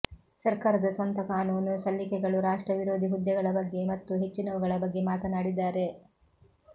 ಸರ್ಕಾರದ ಸ್ವಂತ ಕಾನೂನು ಸಲ್ಲಿಕೆಗಳು ರಾಷ್ಟ್ರ ವಿರೋಧಿ ಹುದ್ದೆಗಳ ಬಗ್ಗೆ ಮತ್ತು ಹೆಚ್ಚಿನವುಗಳ ಬಗ್ಗೆ ಮಾತನಾಡಿದ್ದಾರೆ